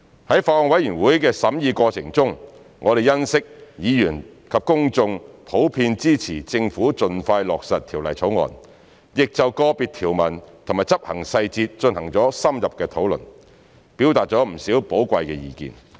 在法案委員會的審議過程中，我們欣悉議員及公眾普遍支持政府盡快落實《條例草案》，亦就個別條文及執行細節進行了深入的討論，表達了不少寶貴的意見。